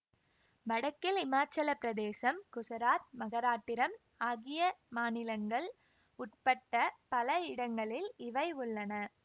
வடக்கில் இமாச்சல பிரதேசம் குசராத் மகாராட்டிரம் ஆகிய மாநிலங்கள் உட்பட்ட பல இடங்களில் இவை உள்ளன